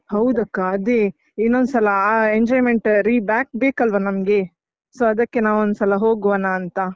ಹೌದಕ್ಕ ಅದೇ ಇನ್ನೊಂದ್ಸಲ ಆ enjoyment reback ಬೇಕಲ್ವಾ ನಮ್ಗೆ? So ಅದಕ್ಕೆ ನಾವೊಂದ್ಸಲ ಹೋಗುವನಾಂತ.